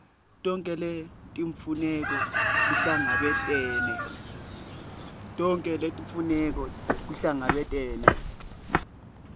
tonkhe letimfuneko kuhlangabetene